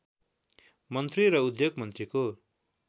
मन्त्री र उद्योग मन्त्रीको